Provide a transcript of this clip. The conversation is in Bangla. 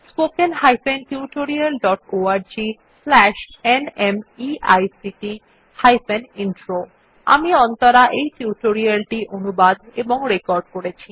spoken hyphen tutorial dot org slash NMEICT hyphen intro আমি অন্তরা এই টিউটোরিয়াল টি অনুবাদ এবং রেকর্ড করেছি